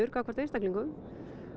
gagnvart einstaklingum